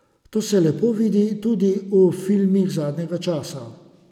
To se lepo vidi tudi v filmih zadnjega časa.